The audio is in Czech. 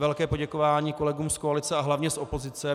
Velké poděkování kolegům z koalice a hlavně z opozice.